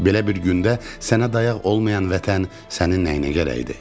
Belə bir gündə sənə dayaq olmayan vətən sənin nəyinə gərəkdir?